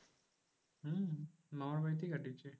হম মামার বাড়িতেই কাটিয়েছে।